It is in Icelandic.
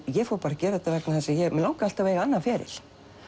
ég fór að gera þetta vegna þess að mig langaði alltaf að eiga annan feril